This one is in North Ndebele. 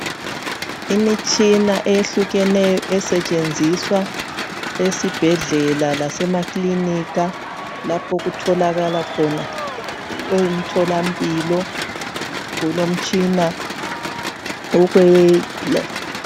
Imitshina eyehlukeneyo esetshenziswa esibhedlela lasemaklinika. Lapho okutholakala khona umtholampilo. Kulomtshina okwe...